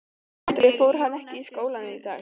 Andri: En hann fór ekki í skólann í dag?